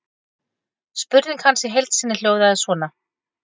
Spurning hans í heild sinni hljóðaði svona: